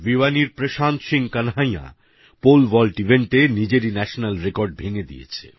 ভিওয়ানির Prashant Singh Kanhaiya pole vault ইভেন্টে নিজেরই national record ভেঙ্গে দিয়েছে